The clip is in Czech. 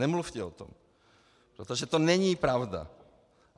Nemluvte o tom, protože to není pravda.